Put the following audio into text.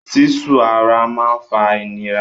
Sísu ara máa ń fa ìnira.